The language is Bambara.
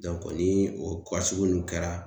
ni o sugu nun kɛra